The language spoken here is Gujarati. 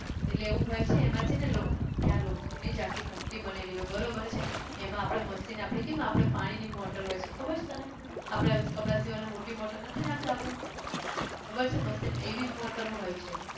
એટલે એવું હોય છે એમાં છે ને લો ત્યાં લોખંડ ની જ આખી ઘંટી બનેલી હોય બરોબર છે એમાં આપણે machine આપણે કેમ આપડે પાણી ની motor હોય છે ખબર છે તને આપણે કપડાં સીવવાં ની મોટી motor નથી નાખતા આપણે ખબર છે machine માં એવી જ motor ઓ હોય છે